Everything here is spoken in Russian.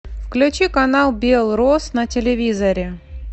включи канал белрос на телевизоре